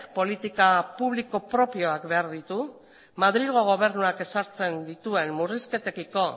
politika publiko propioak behar ditu madrilgo gobernuak ezartzen dituen murrizketekiko